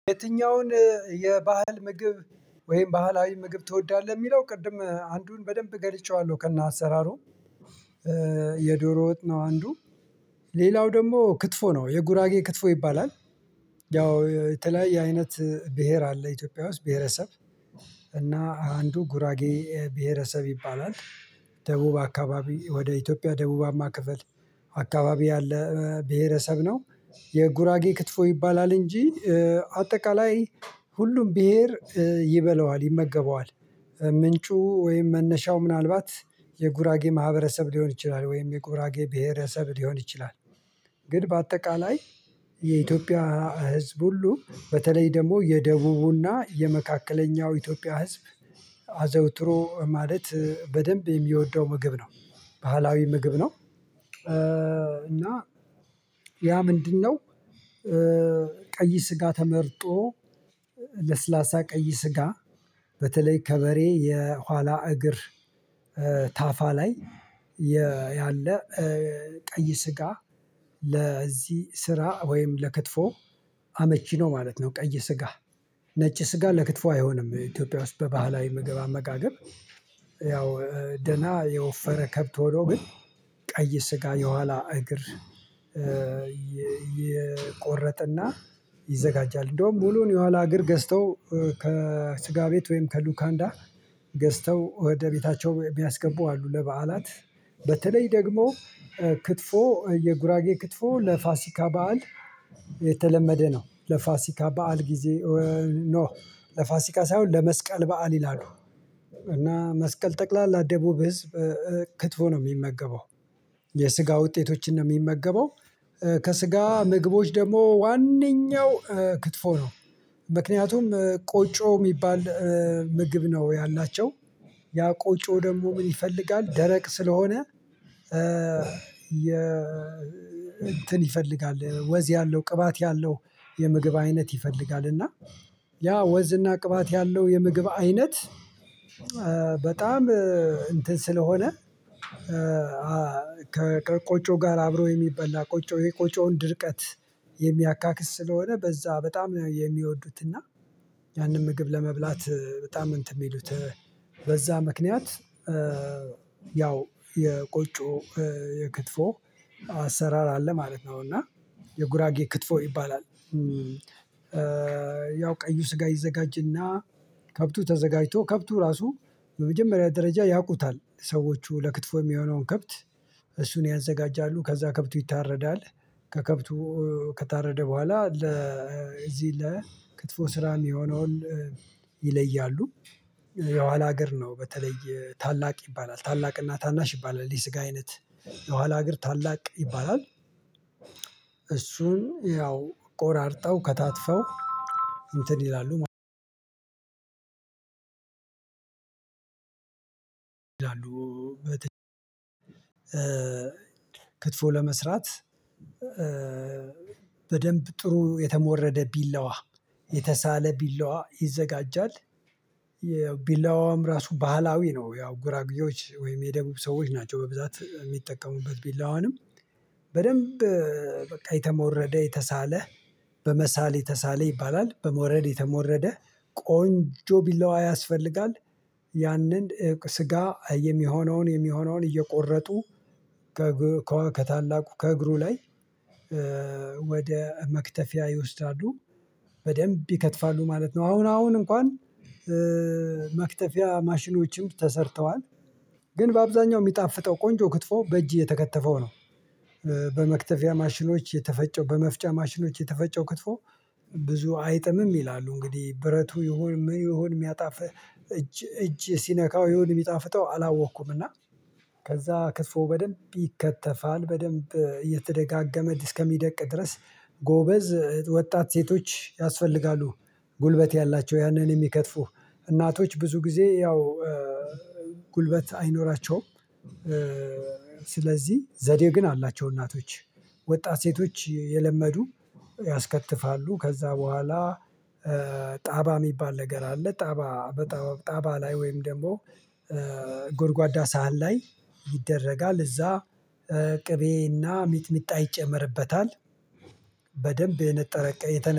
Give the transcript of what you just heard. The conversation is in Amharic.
የትኛውን የባህል ምግብ ወይም ባህላዊ ምግብ ትወዳለህ የሚለው ቅድም አንዱን በደንብ ገልጼዋለሁ ከእነ አሰራሩ የዶሮ ወጥ ነው። አንዱ ሌላው ደግሞ ክትፎ ነው የጉራጌ ክትፎ ይባላል። ያው የተለያየ አይነት ብሄር አለ ኢትዮጵያ ውስጥ ብሄረሰብ እና አንዱ ጉራጌ ብሄረሰብ ይባላል። ደቡብ አካባቢ ወደ ኢትዮጵያ ደቡባማ ክፍል አካባቢ ያለ ብሄረሰብ ነው። የጉራጌ ክትፎ ይባላል እንጂ አጠቃላይ ሁሉም ብሄር ይበላዋል ይመገበዋል ምንጩ ወይም መነሻው ምናልባት የጉራጌ ማህበረሰብ ሊሆን ይችላል ወይም የጉራጌ ብሄረሰብ ሊሆን ይችላል። ግን በአጠቃላይ የኢትዮጵያ ህዝብ ሁሉ በተለይ ደግሞ የደቡቡ እና የመካከለኛው ኢትዮጵያ ህዝብ አዘውትሮ ማለት በደንብ የሚወደው ምግብ ነው ባህላዊ ምግብ ነው። እና ያ ምንድነው? ቀይ ስጋ ተመርጦ ለስላሳ ቀይ ስጋ በተለይ ከበሬ የኋላ እግር ታፋ ላይ ያለ ቀይ ስጋ ለዚህ ስራ ወይም ለክትፎ አመቺ ነው ማለት ነው። ቀይ ስጋ ነጭ ስጋ ለክትፎ አይሆንም ኢትዮጵያ ውስጥ በባህላዊ ምግብ አመጋገብ። ያው ደህና የወፈረ ከብት ሆኖ ግን ቀይ ስጋ የኋላ እግር ይቆረጠ እና ይዘጋጃል እንደውም ሙሉውን የኋላ እግር ገዝተው ከስጋ ቤት ወይም ከሉካንዳ ገዝተው ወደ ቤታቸው ቢያስገቡ አሉ። ለበዓላት በተለይ ደግሞ ክትፎ የጉራጌ ክትፎ ለፋሲካ በዓል የተለመደ ነው። ለፋሲካ በዓል ጊዜ ኖ ለፋሲካ ሳይሆን ለመስቀል በዓል ይላሉ። እና መስቀል ጠቅላላ ደቡብ ህዝብ ክትፎ ነው የሚመገበው የስጋ ውጤቶችን ነው የሚመገበው ከስጋ ምግቦች ደግሞ ዋነኛው ክትፎ ነው። ምክንያቱም ቆጮ የሚባል ምግብ ነው ያላቸው ያ ቆጮ ደግሞ ምን ይፈልጋል? ደረቅ ስለሆነ የ እንትን ይፈልጋል ወዝ ያለው ቅባት ያለው የምግብ አይነት ይፈልጋል። እና ያ ወዝ እና ቅባት ያለው የምግብ አይነት በጣም እንትን ስለሆነ ከቆጮ ጋር አብሮ የሚበላ ቆጮ ይሄ ቆጮውን ድርቀት የሚያካክስ ስለሆነ በዛ በጣም የሚወዱት እና ያንን ምግብ ለመብላት በጣም እንትን የሚሉት በዛ ምክንያት ያው የቆጮ የክትፎ አሰራር አለ ማለት ነው። እና የጉራጌ ክትፎ ይባላል። ያው ቀዩ ስጋ ይዘጋጅ እና ከብቱ ተዘጋጅቶ ከብቱ ራሱ በመጀመሪያ ደረጃ ያውቁታል ሰዎቹ ለክትፎ የሚሆነውን ከብት እሱን ያዘጋጃሉ ከዛ ከብቱ ይታረዳል። ከከብቱ ከታረደ በኋላ ለዚህ ለክትፎ ስራ የሚሆነውን ይለያሉ። የኋላ እግር ነው በተለይ ታላቅ ይባላል ታላቅ እና ታናሽ ይባላል የስጋ አይነት የኋላ እግር ታላቅ ይባላል። እሱን ያው ቆራርጠው ከታተፈው እንትን ይላሉ አሉ ክትፎ ለመስራት በደንብ ጥሩ የተሞረደ ቢላዋ የተሳለ ቢላዋ ይዘጋጃል። ቢላዋውም ራሱ ባህላዊ ነው ያው ጉራጉዬዎች ወይም የደቡብ ሰዎች ናቸው በብዛት የሚጠቀሙበት ቢላዋንም በደንብ በቃ የተሞረደ የተሳለ በመሳል የተሳለ ይባላል በሞረድ የተሞረደ ቆንጆ ቢላዋ ያስፈልጋል። ያንን ስጋ የሚሆነውን የሚሆነውን እየቆረጡ ከታላቁ ከእግሩ ላይ ወደ መክተፊያ ይወስዳሉ በደንብ ይከትፋሉ ማለት ነው። አሁን አሁን እንኳን መክተፊያ ማሽኖችም ተሰርተዋል ግን በአብዛኛው የሚጣፍጠው ቆንጆ ክትፎ በእጅ የተከተፈው ነው። በመክተፊያ ማሽኖች የተፈጨው በመፍጫ ማሽኖች የተፈጨው ክትፎ ብዙ አይጥምም ይላሉ እንግዲህ ብረቱ ይሁን ምን ይሆን የሚያጣፍህ እጅ እጅ ሲነካው ይሁን የሚጣፍጠው አላወቅኩም። ከዛ ክትፎው በደንብ ይከተፋል በደንብ እየተደጋገመ እስከሚደቅ ድረስ ጎበዝ ወጣት ሴቶች ያስፈልጋሉ ጉልበት ያላቸው ያንን የሚከትፉ እናቶች ብዙ ጊዜ ያው ጉልበት አይኖራቸውም። ስለዚህ ዘዴ ግን አላቸው እናቶች ወጣት ሴቶች የለመዱ ያስከትፋሉ። ከዛ በኋላ ጣባ የሚባል ነገር አለ ጣባ በጣባ ጣባ ላይ ወይም ደግሞ ጎድጓዳ ሳህን ላይ ይደረጋል እዛ ቅቤ እና ሚጥሚጣ ይጨመርበታል። በደንብ የነጠረ የተነጠረ